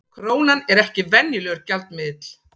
Krónan er ekki venjulegur gjaldmiðill